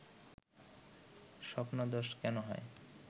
স্বপ্নদোষ কেন হয়